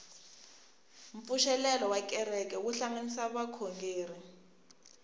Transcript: mpfuxelelo wa kereke wu hlanganisa vakhongeri